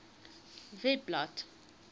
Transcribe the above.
webblad